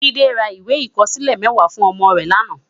Jide rá iwé ikòsilé mèwá fún òmò rè làná